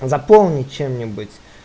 заполнить чем-нибудь